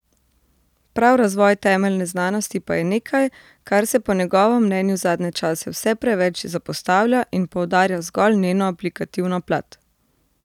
Prav razvoj temeljne znanosti pa je nekaj, kar se po njegovem mnenju zadnje čase vse preveč zapostavlja in poudarja zgolj njeno aplikativno plat.